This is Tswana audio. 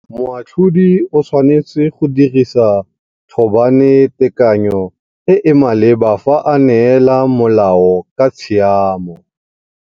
Moatlhodi o tshwanetse go dirisa thôbanetekany o e e maleba fa a neela molao ka tshiamo.